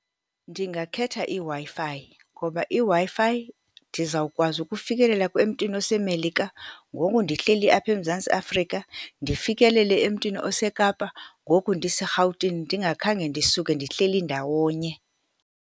Ndingakhetha iWi-Fi, ngoba iWi-Fi ndizawukwazi ukufikelela emntwini oseMelika ngoku ndihleli apha eMzantsi Afrika, ndifikelele emntwini oseKapa ngoku ndiseRhawutini, ndingakhange ndisuke, ndihleli ndawonye.